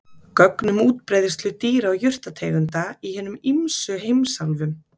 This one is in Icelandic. Gögn um útbreiðslu dýra- og jurtategunda í hinum ýmsu heimsálfum.